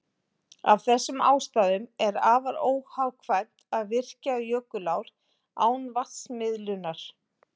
Af þessum ástæðum er afar óhagkvæmt að virkja jökulár án vatnsmiðlunar.